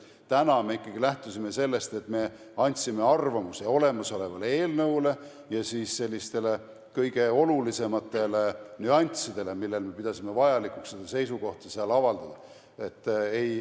Praegu me oleme ikkagi lähtunud sellest, et me andsime arvamuse olemasoleva eelnõu kohta ja kõige olulisemate nüansside kohta, mille suhtes me pidasime vajalikuks oma seisukohta avaldada.